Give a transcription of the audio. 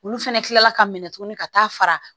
Olu fɛnɛ kila la ka minɛ tuguni ka taa fara